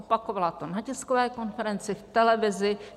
Opakovala to na tiskové konferenci, v televizi.